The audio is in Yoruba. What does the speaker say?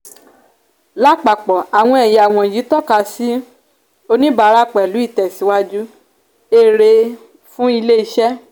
lápapò àwọn ẹ̀yà wonyi toka sì ọjà onibara pẹ̀lú itesiwaju èrè fún ilé iṣẹ́.